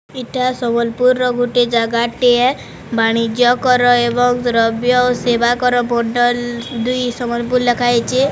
ଇଟା ସମ୍ବଲପୁରର ଗୋଟେ ଜାଗାଟିଏ ବାଣିଜ୍ୟ କର ଏବଂ ଦ୍ରବ୍ଯ ଓ ସେବା କର ବଣ୍ଡଲ୍ ଦୁଇ ସମ୍ବଲପୁର୍ ଲେଖା ହେଇଚି ।